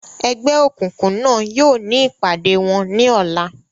Ẹgbẹ́ òkùnkùn náà yóò ní ìpàdé wọn ní ọ̀la.